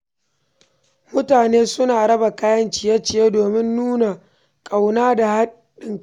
Mutane suna raba kayan ciye-ciye domin nuna kauna da haɗin kai.